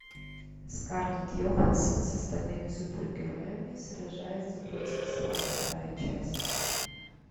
скарлетт йоханссон с остальными супергероями сражается против зла вторая часть